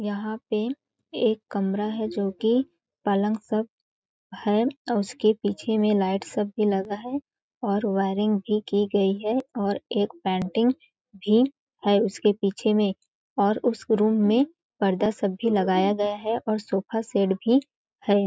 जहाँ पे एक कमरा हैं जो की पलंग सब हैं उसके पीछे लाइट सब भी हैं और वायरिंग भी की गई हैं और एक पेंटिंग भी हैं उसके पीछे में और उस रूम पर्दा सब भी लगाया गया हैं और सोफा सेट भी हैं।